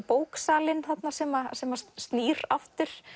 bóksalinn sem sem snýr aftur